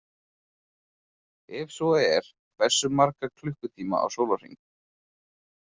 Ef svo er hversu marga klukkutíma á sólarhring?